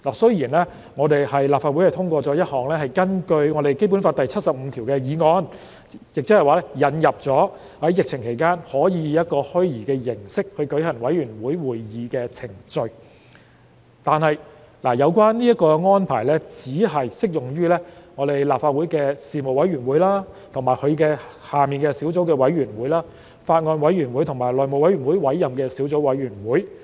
雖然立法會通過一項根據《基本法》第七十五條訂立的議案，以引入在疫情期間以虛擬形式舉行委員會會議的程序，但這項安排只適用於立法會的事務委員會及其轄下的小組委員會、法案委員會，以及由內務委員會委任的小組委員會。